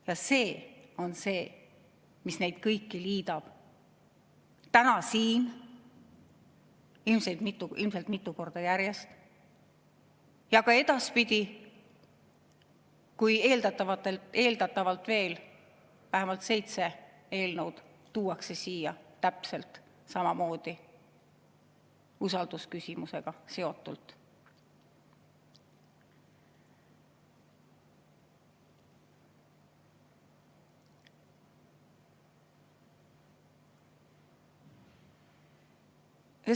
Ja see on see, mis neid kõiki liidab, täna siin, ilmselt mitu korda järjest, ja ka edaspidi, kui eeldatavalt veel vähemalt seitse eelnõu tuuakse siia täpselt samamoodi usaldusküsimusega seotult.